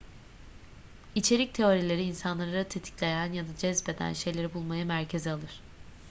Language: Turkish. i̇çerik teorileri insanları tetikleyen ya da cezbeden şeyleri bulmayı merkeze alır